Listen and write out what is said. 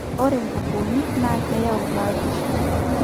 ore inkukunik naa keyau batisho